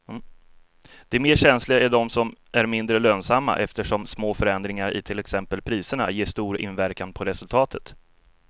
De mer känsliga är de som är mindre lönsamma eftersom små förändringar i till exempel priserna ger stor inverkan på resultatet.